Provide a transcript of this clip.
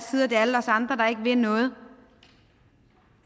alle os andre der ikke vil noget